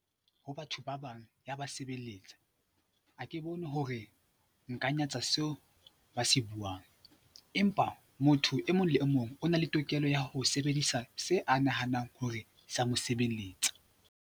Ho batho ba bang ya ba sebelletsa, ha ke bone hore nka nyatsa seo ba se buang empa motho e mong le e mong o na le tokelo ya ho sebedisa se a nahanang hore sa mo sebelletsa.